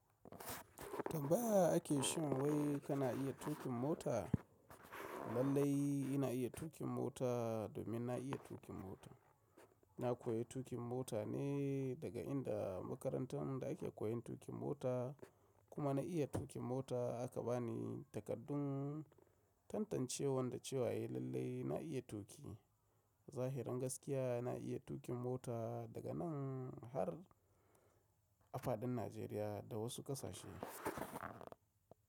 Tambaya ake so wai kana iya tuƙin mota. Lallai ina iya tuƙin mota domin na iya tuƙin mota. Na koyi tuƙin mota ne daga inda makarantan da ake koyon tuƙin mota kuma na iya tuƙin mota aka ba ni takardun tantancewan da cewa eh lallai na iya tuƙi. Zahirin gaskiya na iya tuƙin mota daga nan har a faɗin Najeriya da wasu ƙasashe.